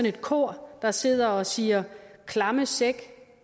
et kor der sidder og siger klamme sæk